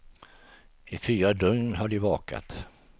I fyra dygn har de vakat.